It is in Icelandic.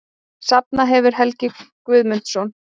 Safnað hefur Helgi Guðmundsson.